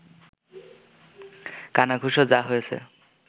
কানাঘুষো যা হয়েছে